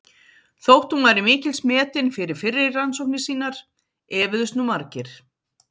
Þótt hún væri mikils metin fyrir fyrri rannsóknir sínar efuðust nú margir.